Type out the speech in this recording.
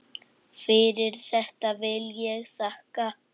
Fyrir þetta vil ég þakka.